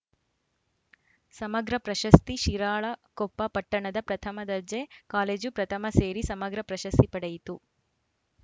ಸಮಗ್ರ ಪ್ರಶಸ್ತಿ ಶಿರಾಳಕೊಪ್ಪ ಪಟ್ಟಣದ ಪ್ರಥಮ ದರ್ಜೆ ಕಾಲೇಜು ಪ್ರಥಮ ಸೇರಿ ಸಮಗ್ರ ಪ್ರಶಸ್ತಿ ಪಡೆಯಿತು